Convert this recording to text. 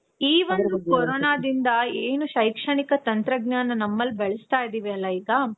ಈ ಒಂದು ಕೋರೋನಾದಿಂದ ಏನು ಶೈಕ್ಷಣಿಕ ತಂತ್ರಜ್ಞಾನ ನಮ್ಮಲ್ಲಿ ಬೆಳೆಸ್ತಾ ಇದಿವಲ ಈಗ